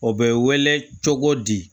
O bɛ wele cogo di